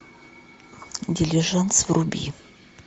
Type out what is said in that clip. дилижанс вруби